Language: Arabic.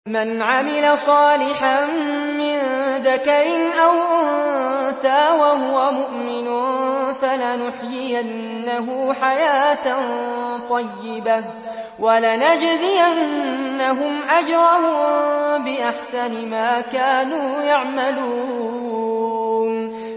مَنْ عَمِلَ صَالِحًا مِّن ذَكَرٍ أَوْ أُنثَىٰ وَهُوَ مُؤْمِنٌ فَلَنُحْيِيَنَّهُ حَيَاةً طَيِّبَةً ۖ وَلَنَجْزِيَنَّهُمْ أَجْرَهُم بِأَحْسَنِ مَا كَانُوا يَعْمَلُونَ